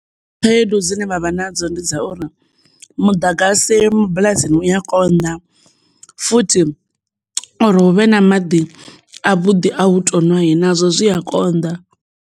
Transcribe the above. Khaedu dzine vha vha nadzo ndi dza uri muḓagasi mabulasini u a konḓa futhi uri huvhe na maḓi a vhuḓi a u tonwa nazwo zwi a konḓa.